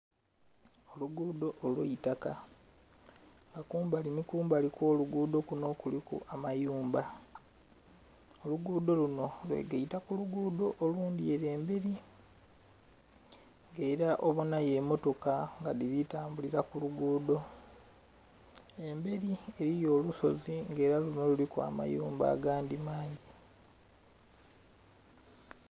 Olugudho olwaitaka nga kumbali nhi kumbali okwolugudho kunho kuliku amayumba, olugudho lunho lweigeita kulugudho olundhi olundhi ere emberi era obonhayo emmotoka dhili tambulira kulugudho, emberi eriyo olusozi nga era lunho luliku amayumba agandhi amangi.